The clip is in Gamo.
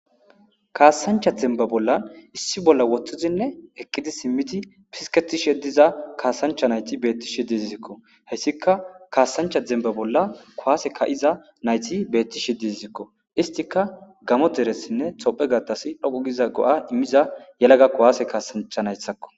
kaasancha zemba bollan issi bolla woththizinne eqqidi simmiti pisketishe diza kaasancha nayti beetti she dizisikko heyssika kaasancha zemba bolla kuwase ka7iza nayti beettishi dizizikko istika gamo deressinne tophe gatas dhoqu giza go7a immiza yelaga kowaase kaasancha naythakko